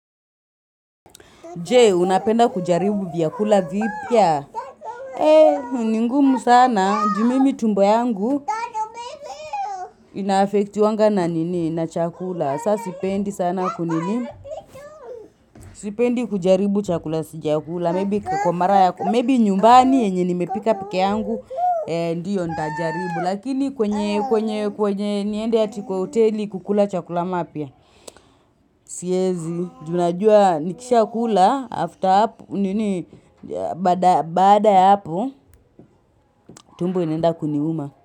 Jee, unapenda kujaribu vyakula vipya? Eee, ni ngumu sana. Juu mimi tumbo yangu inaaffecti wanga na nini? Na chakula. Saa sipendi sana kunini. Sipendi kujaribu chakula sijakula. Maybe kwa mara yako. Maybe nyumbani yenye nimepika pekee yangu. Eee, ndiyo ndajaribu. Lakini kwenye, kwenye, kwenye, niende ati kwa hoteli kukula chakula mapya. Siezi, juu najua nikishaakula after hapo. Nini, bada ya hapo, tumbo inaenda kuniuma.